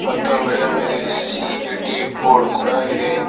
ಮತ್ತು ಅಂಗಡಿಯ ಮೇಲೆ ಸಿ_ಎ_ಟಿ ಬೋರ್ಡ್ ಕೂಡ ಇದೆ.